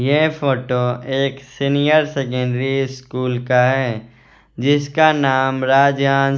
ये फोटो एक senior secondary school का है जिसका नाम राज--